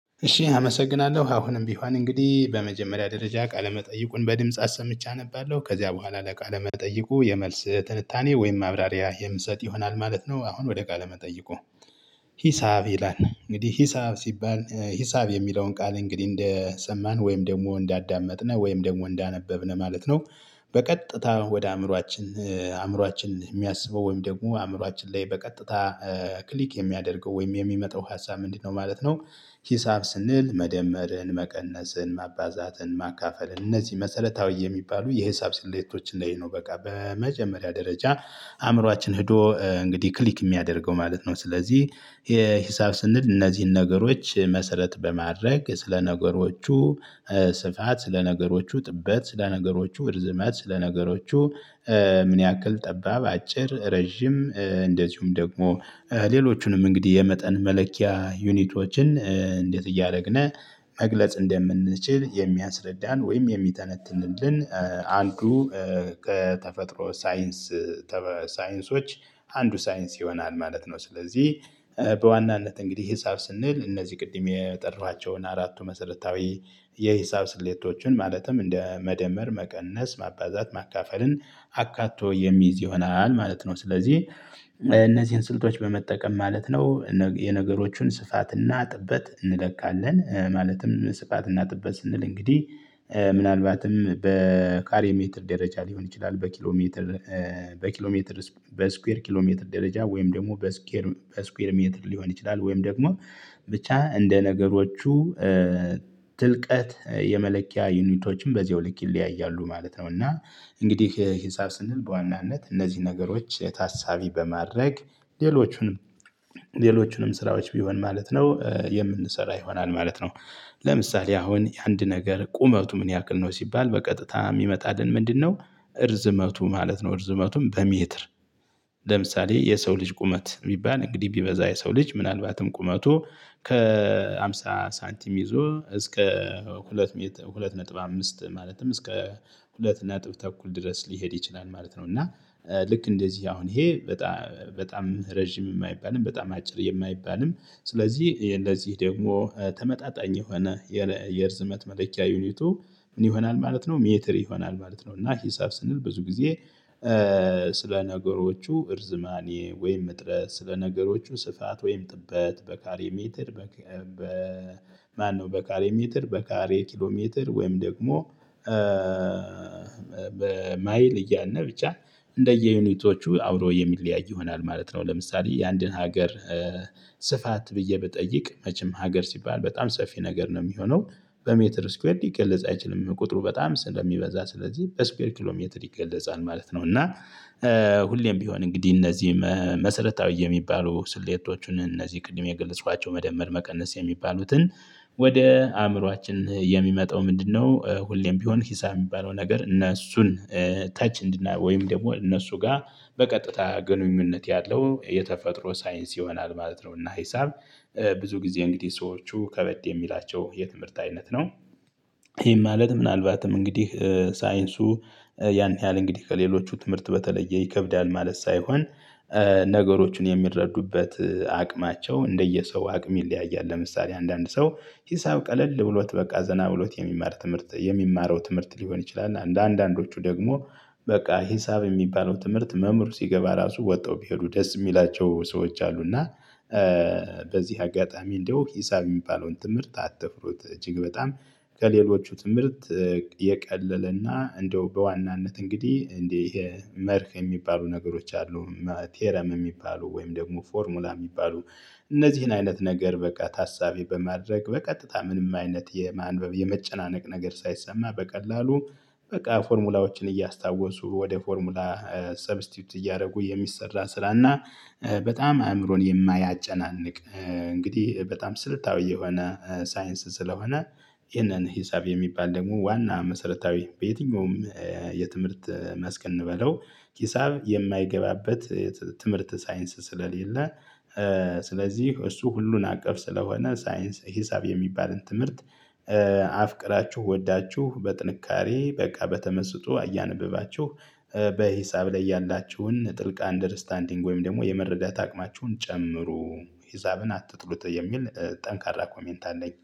እሺ አመሰግናለሁ አሁንም ቢሆን እንግዲህ በመጀመሪያ ደረጃ ቃለመጠይቁን በድምጽ አሰምቼ አነባለሁ ከዚያ በኋላ ለቃለ መጠየቁ የመልስ ትንታኔ ወይም ማብራሪያ የምሰጥ ይሆናል ማለት ነው። አሁን ወደ ቃለ መጠይቁ። ሂሳብ ይላል እንግዲህ ሂሳብ ሲባል ሂሳብ የሚለውን ቃል እንግዲህ እንደሰማን ወይም ደግሞ እንዳዳመጥነን ወይም ደግሞ እንዳነበብነን ማለት ነው። በቀጥታ ወደ አእምሮአችን አእምሮአችን የሚያስበው ወይም ደግሞ አእምሮአችን ላይ በቀጥታ ክሊክ የሚያደርገው ወይም የሚመጣው ሀሳብ ምንድነው ማለት ነው። ሂሳብ ስንል መደመርን መቀነስን ማባዛትን ማካፈል እነዚህ መሰረታዊ የሚባሉ የሂሳብ ስሌቶችን ላይ ነው በቃ በመጀመሪያ ደረጃ። አእምሮአችን ሄዶ እንግዲህ ክሊክ የሚያደርገው ማለት ነው። ስለዚህ የሂሳብ ስንል እነዚህን ነገሮች መሰረት በማድረግ ስለ ነገሮቹ ስፋት ስለ ነገሮቹ ጥበት ስለ ነገሮቹ እርዝመት ስለ ነገሮቹ። ምን ያህል ጠባብ አጭር ረጅም እንደዚሁም ደግሞ ሌሎቹንም እንግዲህ የመጠን መለኪያ ዩኒቶችን እንዴት እያደረግን መግለጽ እንደምንችል የሚያስረዳን ወይም የሚተነትልን አንዱ ከተፈጥሮ ሳይንስ። ሳይንሶች አንዱ ሳይንስ ይሆናል ማለት ነው። ስለዚህ በዋናነት እንግዲህ ሂሳብ ስንል እነዚህ ቅድም የጠራኋቸውን አራቱ መሰረታዊ የሂሳብ ስሌቶችን ማለትም እንደ መደመር መቀነስ ማባዛት ማካፈልን አካቶ የሚይዝ ይሆናል ማለት ነው። ስለዚህ እነዚህን ስልቶች በመጠቀም ማለት ነው። የነገሮችን ስፋትና ጥበት እንለካለን ማለትም ስፋትና ጥበት ስንል እንግዲህ ምናልባትም በካሬ ሜትር ደረጃ ሊሆን ይችላል። በኪሎሜትር በኪሎሜትር በስኩዌር ኪሎሜትር ደረጃ ወይም ደግሞ በስኩዌር በስኬር ሜትድ ሊሆን ይችላል። ወይም ደግሞ ብቻ እንደ ነገሮቹ ትልቀት የመለኪያ ዩኒቶችም በዚሁ ልክ ይለያያሉ ማለት ነው። እና እንግዲህ ሂሳብ ስንል በዋናነት እነዚህ ነገሮች ታሳቢ በማድረግ ሌሎቹንም ስራዎች ቢሆን ማለት ነው የምንሰራ ይሆናል ማለት ነው። ለምሳሌ አሁን አንድ ነገር ቁመቱ ምን ያክል ነው ሲባል በቀጥታ የሚመጣልን ምንድነው? እርዝመቱ ማለት ነው እርዝመቱም በሜትር። ለምሳሌ የሰው ልጅ ቁመት የሚባል እንግዲህ ቢበዛ የሰው ልጅ ምናልባትም ቁመቱ ከሃምሳ ሳንቲም ይዞ እስከ ሁለት ሁለት ነጥብ አምስት ማለትም እስከ ሁለት ነጥብ ተኩል ድረስ ሊሄድ ይችላል ማለት ነው። እና ልክ እንደዚህ አሁን ይሄ በጣም በጣም ረጅም የማይባልም በጣም አጭር የማይባልም ስለዚህ ለዚህ ደግሞ ተመጣጣኝ የሆነ የርዝመት መለኪያ ዩኒቱ ምን ይሆናል ማለት ነው? ሜትር ይሆናል ማለት ነው እና ሂሳብ ስንል ብዙ ጊዜ ስለ ነገሮቹ እርዝማኔ ወይም እጥረት ስለ ነገሮቹ ስፋት ወይም ጥበት በካሬ ሜተር። በ ማነው በካሬ ሜትር በካሬ ኪሎ ሜትር ወይም ደግሞ? በማይል እያልነ ብቻ እንደየዩኒቶቹ አብሮ የሚለያይ ይሆናል ማለት ነው። ለምሳሌ የአንድን ሀገር ስፋት ብዬ ብጠይቅ መቼም ሀገር ሲባል በጣም ሰፊ ነገር ነው የሚሆነው። በሜትር ስኩዌርድ ሊገልጽ አይችልም ቁጥሩ በጣም ስለሚበዛ ስለዚህ በስኬር ኪሎሜትር ይገለጻል ማለት ነው። እና ሁሌም ቢሆን እንግዲህ እነዚህ መሰረታዊ የሚባሉ ስሌቶቹን እነዚህ ቅድም የገለፅኳቸው መደመር መቀነስ የሚባሉትን። ወደ አእምሮአችን የሚመጣው ምንድነው? ሁሌም ቢሆን ሂሳብ የሚባለው ነገር እነ እሱን ተች እንድናይ ወይም ደግሞ እነሱ ጋር በቀጥታ ግንኙነት ያለው የተፈጥሮ ሳይንስ ይሆናል ማለት ነው። እና ሂሳብ ብዙ ጊዜ እንግዲህ ሰዎቹ ከበድ የሚላቸው የትምህርት አይነት ነው። ይሄም ማለት ምናልባትም እንግዲህ ሳይንሱ ያን ያህል እንግዲህ ከሌሎቹ ትምህርት በተለየ ይከብዳል ማለት ሳይሆን። ነገሮችን የሚረዱበት አቅማቸው እንደየሰው አቅም ይለያያል። ለምሳሌ አንዳንድ ሰው ሂሳብ ቀለል ብሎት በቃ ዘና ብሎት የሚማር ትምህርት የሚማረው ትምህርት ሊሆን ይችላል። እና አንዳንዶቹ ደግሞ በቃ ሂሳብ የሚባለው ትምህርት መምህር ሲገባ ራሱ ወጠው ቢሄዱ ደስ የሚላቸው ሰዎች አሉ። እና። በዚህ አጋጣሚ እንደው ሂሳብ የሚባለውን ትምህርት አትፍሩት እጅግ በጣም ከሌሎቹ ትምህርት። የቀለለና እንደው በዋናነት እንግዲህ እንደ ይሄ መርህ የሚባሉ ነገሮች አሉ። ቴረም የሚባሉ ወይም ደግሞ ፎርሙላ የሚባሉ። እነዚህን አይነት ነገር በቃ ታሳቢ በማድረግ በቀጥታ ምንም አይነት የማንበብ የመጨናነቅ ነገር ሳይሰማ በቀላሉ በቃ ፎርሙላዎችን እያስታወሱ ወደ ፎርሙላ ሰብስቲዩት እያደረጉ የሚሰራ ስራ እና። በጣም አእምሮን የማያጨናንቅ እንግዲህ በጣም ስልታዊ የሆነ ሳይንስ ስለሆነ። ይህንን ሂሳብ የሚባል ደግሞ ዋና መሰረታዊ በየትኛውም የትምህርት መስክ እንበለው። ሂሳብ የማይገባበት። ትምህርት ሳይንስ ስለሌለ። ስለዚህ እሱ ሁሉን አቀፍ ስለሆነ ሳይንስ ሂሳብ የሚባልን ትምህርት። አፍቅራችሁ ወዳችሁ በጥንካሬ በቃ በተመስጦ እያነበባችሁ በሂሳብ ላይ ያላችሁን ጥልቅ አንደርስታንዲንግ ወይም ደግሞ የመረዳት አቅማችሁን ጨምሩ ሀሳብን አትጥሉት የሚል ጠንካራ ኮሜንት አለኝ